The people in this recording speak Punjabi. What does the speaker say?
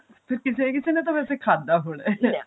ਕਿਸੇ ਨਾ ਕਿਸੇ ਨੇ ਤਾਂ ਵੇਸੇ ਖਾਧਾ ਹੋਣਾ